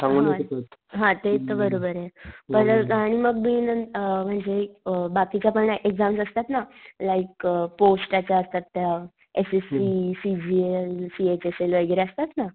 हा ते हा ते तर बरोबरे पण अ मग बी नंतर म्हणजे अ बाकीच्या पण एक्साम्स असता ना, लाइक अ पोस्टाच्या असतात त्या S S C, C G N, C H L वैगेरे असतात ना.